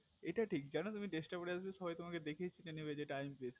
এটা ঠিক জানো তুমি dress টা পরে আছো সবাই তোমাকে দেখেই চিনে নেবে এটা undreess